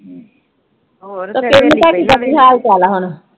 ਉਹ ਕਿਰਨ ਤੁਹਾਡੀ ਦਾ ਕੀ ਹਾਲ ਚਾਲ ਆ ਹੁਣ?